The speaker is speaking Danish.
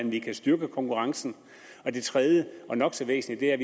vi kan styrke konkurrencen og det tredje og nok så væsentlige er